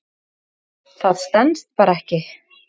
Það stenst bara ekki.